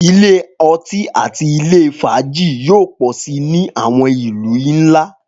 Ilé ọtí àti ilé fàájì yóò pọ̀ si ni àwọn ìlú ńlá